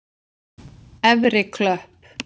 Efri Klöpp